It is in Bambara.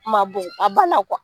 Kun ma bon a b'a la